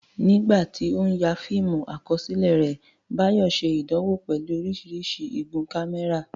Nígbà tí ó ń ya fíìmù àkọsílẹ̀ rẹ̀, Bayo ṣe ìdánwò pẹ̀lú oríṣiríṣi igun kámẹ́rà.